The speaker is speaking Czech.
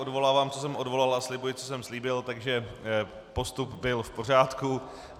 Odvolávám, co jsem odvolal, a slibuji, co jsem slíbil, takže postup byl v pořádku.